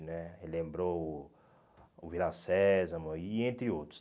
né me lembrou o o Vila Sésamo e entre outros.